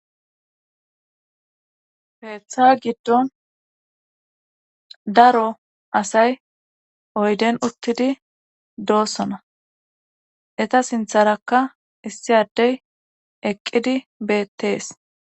heeththa giddon daro asay oyden uttidi doossona eta sintharakka issi addey eqqidi beettees